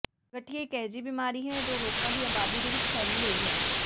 ਗਠੀਏ ਇੱਕ ਅਜਿਹੀ ਬਿਮਾਰੀ ਹੈ ਜੋ ਲੋਕਾਂ ਦੀ ਆਬਾਦੀ ਦੇ ਵਿੱਚ ਫੈਲੀ ਹੋਈ ਹੈ